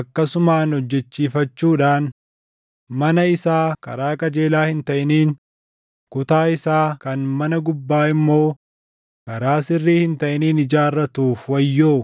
akkasumaan hojjechiifachuudhaan mana isaa karaa qajeelaa hin taʼiniin, kutaa isaa kan mana gubbaa immoo karaa sirrii hin taʼiniin // ijaarratuuf wayyoo.